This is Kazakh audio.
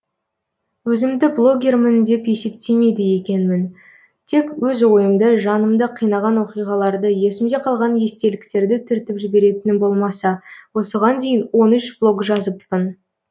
өзімді блогермін деп есептемейді екенмін тек өз ойымды жанымды қинаған оқиғаларды есімде қалған естеліктерді түртіп жіберетінім болмаса осыған дейін он үш блог жазыппын